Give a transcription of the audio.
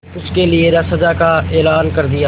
उसके लिए सजा का ऐलान कर दिया